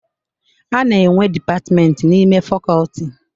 A na-enwe dipatmenti n'ime fakoti.